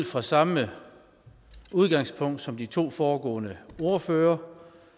fra samme udgangspunkt som de to foregående ordførere